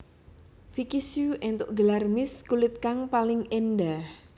Vicky Shu éntuk gelar Miss kulit kang paling endah